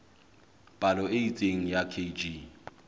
palo e itseng ya kg